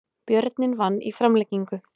Björninn vann í framlengingu